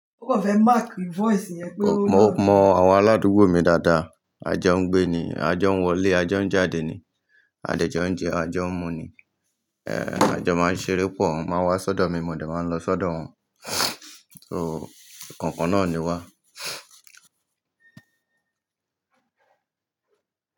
Mo mọ àwọn aládùúgbò mi dáadáa. A jọ ń gbé ni, a jọ ń wọlé, a jọ ń jáde ni, a jẹ jọ ń jẹ, a jọ ń mu ni, a jọ máa ń ṣeré pọ̀, wọ́n máa ń wá sọ́dọ̀ mi, mo dà máa ń lọ sọ́dọ̀ wọn. So ikankan náà ni wá.